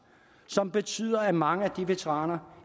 som betyder at mange af veteranerne